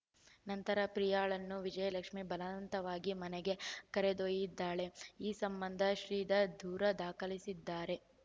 ನಂತರ ಪ್ರಿಯಾಳನ್ನು ವಿಜಯಲಕ್ಷ್ಮಿ ಬಲವಂತವಾಗಿ ಮನೆಗೆ ಕರೆದೊಯ್ದಿದ್ದಾಳೆ ಈ ಸಂಬಂಧ ಶ್ರೀಧರ್‌ ದೂರ ದಾಖಲಿಸಿದ್ದಾರೆ